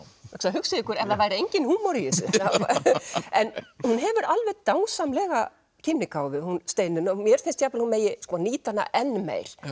hugsið ykkur ef það væri enginn húmor í þessu en hún hefur alveg dásamlega kímnigáfu hún Steinunn og mér finnst hún megi nýta hana enn meir